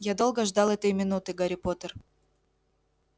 я долго ждал этой минуты гарри поттер